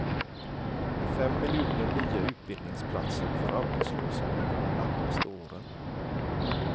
Fem miljoner nya utbildningsplatser för arbetslösa under de närmaste åren.